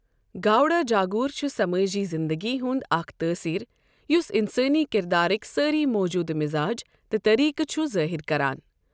گاؤڈا جاگور چھُ سمٲجی زندگی ہُنٛد اکھ تٲثیٖریُس انسٲنی کِردارٕکۍ سٲری موٗجودٕ مزاج تہٕ طریقہٕ چھُ ظٲہر کران۔